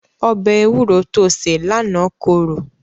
Ọbẹ̀ ewúro to sè lánàá korò.